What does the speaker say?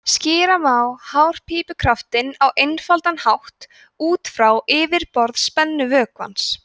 skýra má hárpípukraftinn á einfaldan hátt út frá yfirborðsspennu vökvans